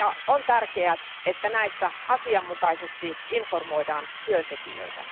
On tärkeää, että näistä asianmukaisesti informoidaan työntekijöitä.